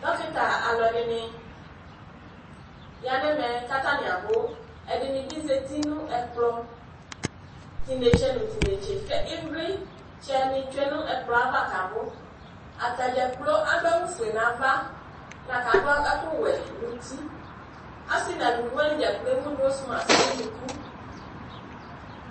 Dokita aluɛdini ya nu ɛmɛ katani abu ɛdinibi zati nu ɛkplɔ tinetse tinetse ku ivlitsɛ ni tsue nu ɛkplɔ ava kabu atadza kplo adu awu ofue nava lakadu ɛku wɛ nu uti asi nu eluvi wani dza kplo ewu nozmas nu unuku